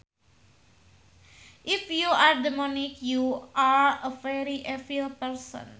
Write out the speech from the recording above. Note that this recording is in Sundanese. If you are demonic you are a very evil person